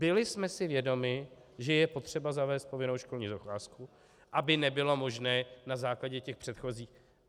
Byli jsme si vědomi, že je potřeba zavést povinnou školní docházku, aby nebylo možné na základě těch předchozích.